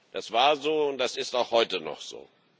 Das war so, und das ist auch heute noch so.